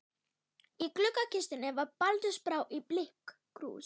Í gluggakistunni var baldursbrá í blikkkrús.